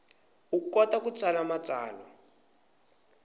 u kota ku tsala matsalwa